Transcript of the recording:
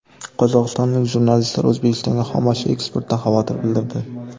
Qozog‘istonlik jurnalistlar O‘zbekistonga xomashyo eksportidan xavotir bildirdi.